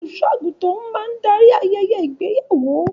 Olùṣọ àgùntàn máa n darí ayẹyẹ ìgbéyàwó.